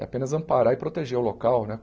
É apenas amparar e proteger o local, né?